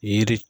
Yiri